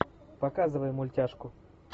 показывай мультяшку